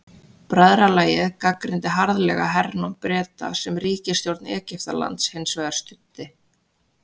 Bræðralagið gagnrýndi harðlega hernám Breta sem ríkisstjórn Egyptalands hins vegar studdi.